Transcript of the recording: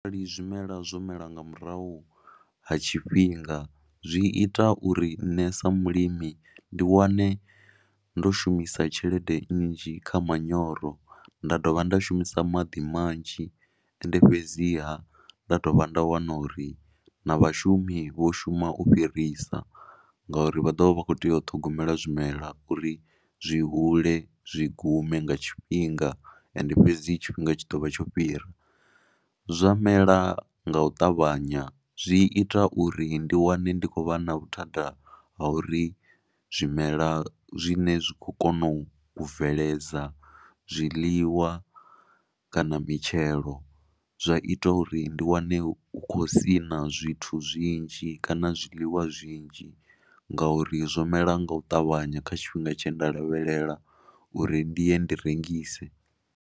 Ndi zwimela zwo mela nga murahu ha tshifhinga zwi ita uri nṋe sa mulimi ndi wane ndo shumisa tshelede nnzhi kha manyoro nda dovha nda shumisa maḓi manzhi. Ende fhedziha nda dovha nda wana uri na vhashumi vho shuma u fhirisa ngauri vha ḓo vha vha khou tea u ṱhogomela zwimela uri zwi hule zwi gume nga tshifhinga. Ende fhedzi tshifhinga tshi ḓo vha tsho fhira zwa mela nga u ṱavhanya zwi ita uri ndi wane ndi khou vha na vhuthada ha uri zwimela zwine zwi khou kona u bveledza zwiḽiwa kana mitshelo zwa ita uri ndi wane u khou sina zwithu zwinzhi kana zwiḽiwa zwinzhi ngauri zwo mela nga u ṱavhanya kha tshifhinga tshe nda lavhelela uri ndi ye ndi rengise.